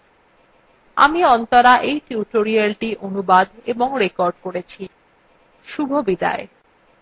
আমি অন্তরা এই tutorialটি অনুবাদ এবং রেকর্ড করেছি শুভবিদায়